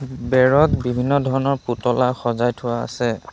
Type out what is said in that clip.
বেৰত বিভিন্ন ধৰণৰ পুতলা সজাই থোৱা আছে।